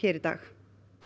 í dag